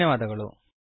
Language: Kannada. ಧನ್ಯವಾದಗಳು